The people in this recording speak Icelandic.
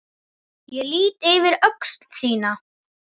Ég lýt yfir öxl þína.